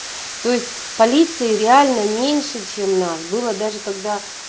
то есть полиции реально меньше чем нас было даже когда